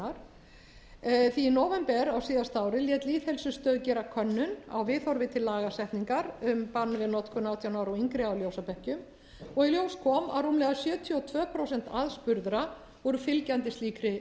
því í nóvember á síðasta ári lét lýðheilsustofnun gera könnun á viðhorfi til lagasetningar um bann við notkun átján ára og yngri að ljósabekkjum í ljós kom að rúmlega sjötíu og tvö prósent aðspurðra voru fylgjandi slíkri